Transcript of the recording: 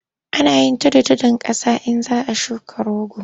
Ana yin tudun tudun ƙasa in za a shuka rogo.